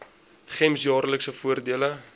gems jaarlikse voordele